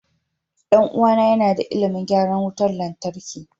Ɗan uwana yana da ilimin gyaran wutar lantarki.